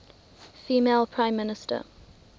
female prime minister